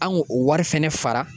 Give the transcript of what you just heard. An k'o o wari fɛnɛ fara